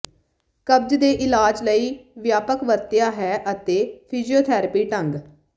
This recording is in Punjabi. ਕਬਜ਼ ਦੇ ਇਲਾਜ ਲਈ ਵਿਆਪਕ ਵਰਤਿਆ ਹੈ ਅਤੇ ਫਿਜ਼ੀਓਥਰੈਪੀ ਢੰਗ